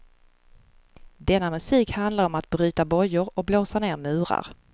Denna musik handlar om att bryta bojor och blåsa ner murar.